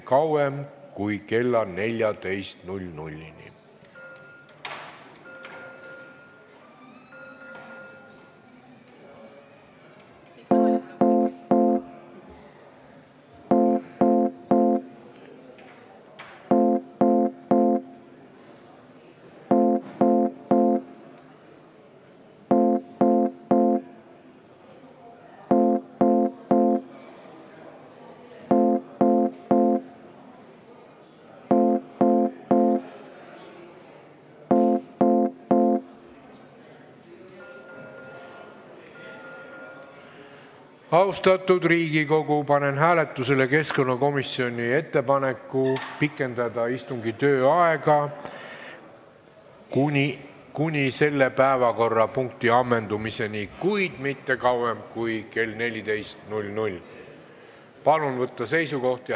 Austatud Riigikogu, panen hääletusele keskkonnakomisjoni ettepaneku pikendada istungi aega kuni selle päevakorrapunkti ammendumiseni, kuid mitte kauem kui kella 14-ni.